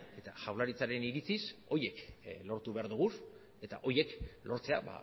eta jaurlaritzaren iritziz horiek lortu behar ditugu eta horiek lortzea